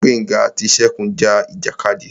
Gbénga àti Ṣegún ja ìjàkadì.